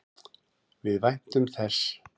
Við væntum þess.